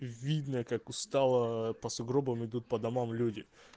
видно как устала по сугробам идут по домам люди